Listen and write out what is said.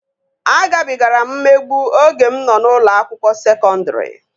Agabigara m mmegbu oge mụ nọ n'ụlọ akwụkwọ sekọndri